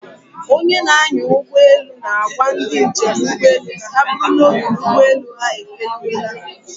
Onye na-anya ụgbọala na-agwa ndị njem ụgbọelu ka ha buru n'obi na ụgbọelu ha efeliwela.